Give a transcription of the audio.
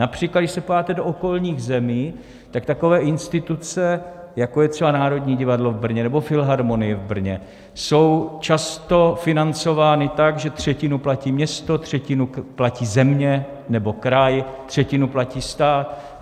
Například když se podíváte do okolních zemí, tak takové instituce, jako je třeba Národní divadlo v Brně nebo Filharmonie v Brně, jsou často financovány tak, že třetinu platí město, třetinu platí země nebo kraj, třetinu platí stát.